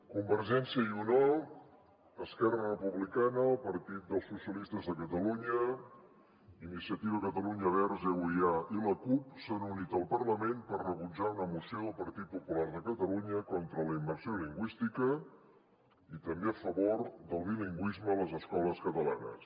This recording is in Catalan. convergència i unió esquerra republicana el partit dels socialistes de catalunya iniciativa per catalunya verds euia i la cup s’han unit al parlament per rebutjar una moció del partit popular de catalunya contra la immersió lingüística i també a favor del bilingüisme a les escoles catalanes